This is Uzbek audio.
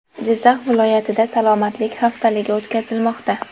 Jizzax viloyatida salomatlik haftaligi o‘tkazilmoqda.